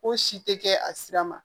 Ko si tɛ kɛ a sira ma